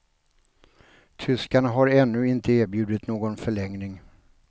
Tyskarna har ännu inte erbjudit någon förlängning.